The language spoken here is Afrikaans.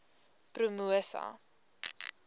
promosa